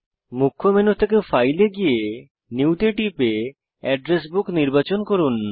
মুখ্য মেনু থেকে ফাইল এ গিয়ে নিউ তে টিপে অ্যাড্রেস বুক নির্বাচন করুন